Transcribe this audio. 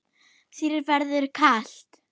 Þér verður kalt